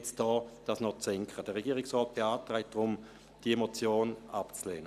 Deswegen beantragt der Regierungsrat, diese Motion abzulehnen.